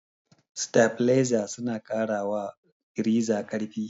Sitabileza suna ƙara wa firiza ƙarfi.